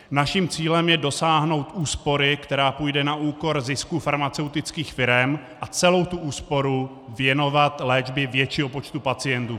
Naším cílem je dosáhnout úspory, která půjde na úkor zisku farmaceutických firem, a celou tu úsporu věnovat léčbě většího počtu pacientů.